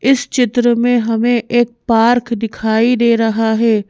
इस चित्र में हमें एक पार्क दिखाई दे रहा है।